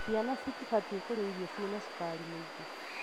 Ciana citibatie kũrĩa irio cina cukari mwingi.